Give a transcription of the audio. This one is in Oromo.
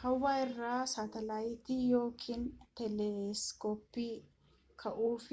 hawaa irra saatalaayitii yookiin teeleskooppii kaa'uuf